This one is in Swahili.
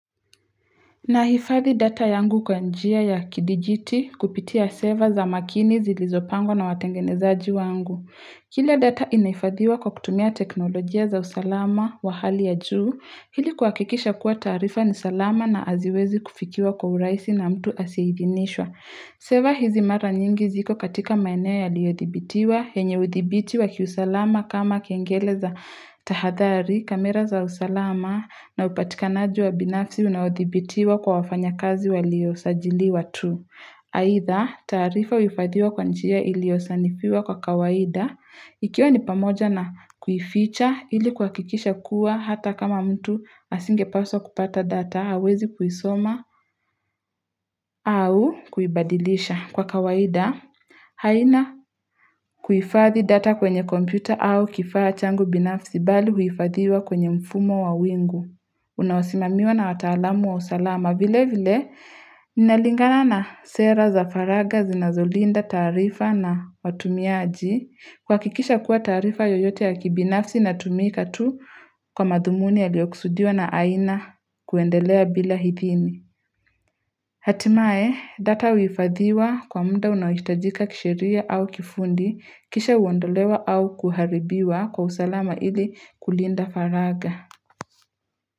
Nahifathi data yangu kwa njia ya kidijiti kupitia server za makini zilizopangwa na watengenezaji wangu. Kila data inahifadhiwa kwa kutumia teknolojia za usalama wa hali ya juu hili kuhakikisha kuwa taarifa ni salama na haziwezi kufikiwa kwa urahisi na mtu asiyeidhinishwa Server hizi mara nyingi ziko katika maeneo ya liyodhibitiwa, yenye udhibitiwa kiusalama kama kengele za tahadhari, kamera za usalama na upatikanaji wa binafsi unaodhibitiwa kwa wafanya kazi waliosajiliwa tu. Haidha taarifa uhifadhiwa kwa njia iliyosanifiwa kwa kawaida, ikiwa ni pamoja na kuificha ili kuhakikisha kuwa hata kama mtu asinge paswa kupata data hawezi kuisoma au kuibadilisha kwa kawaida. Haina kuhifadhi data kwenye kompyuta au kifaa changu binafsi bali huifadhiwa kwenye mfumo wa wingu unaosimamiwa na wataalamu wa usalama vile vile ninalingana na sera za faragha zinazolinda taarifa na watumiaji kuhakikisha kuwa taarifa yoyote ya kibinafsi inatumika tu kwa madhumuni yaliyoksudiwa na haina kuendelea bila hizini Hatimaye data uhifadhiwa kwa muda unaohitajika kisheria au kifundi kisha uondolewa au kuharibiwa kwa usalama ili kulinda faragha.